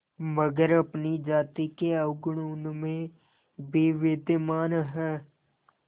मगर अपनी जाति के अवगुण उनमें भी विद्यमान हैं